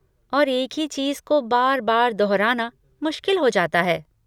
और एक ही चीज को बार बार दोहराना मुश्किल हो जाता है।